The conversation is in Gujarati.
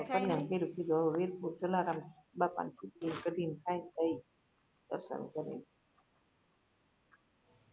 હવે વીરપુર વીરપુર જલારામ બાપા ની ખીચડી ને કઢી ને ખાઈએ પછી દર્શન કરી ને